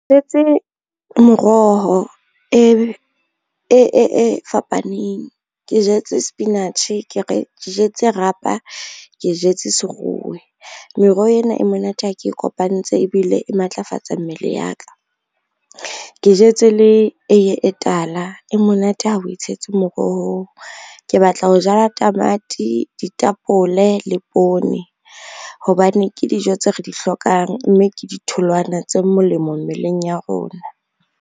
Jetse moroho e fapaneng, ke jetse sepinatjhe, ke re jetse rapa, ke jetse seruwe. Meroho ena e monate ha ke e kopantse ebile e matlafatsa mmele ya ka. Ke jetse le eiye e tala e monate ha we tshetse morohong, ke batla ho jala tamati, ditapole le poone, hobane ke dijo tseo re di hlokang mme ke ditholwana tse molemo mmeleng ya rona.